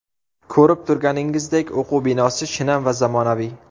Ko‘rib turganingizdek, o‘quv binosi shinam va zamonaviy.